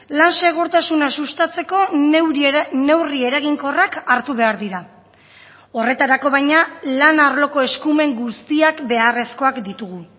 lan segurtasuna sustatzeko neurri eraginkorrak hartu behar dira horretarako baina lan arloko eskumen guztiak beharrezkoak ditugu